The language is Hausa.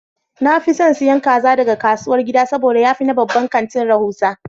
Na fi son siyan kaza daga kasuwar gida saboda ya fi na babban kanti rahusa.